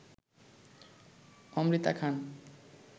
Amrita Khan